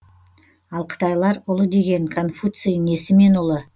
ал қытайлар ұлы деген конфуций несімен ұлы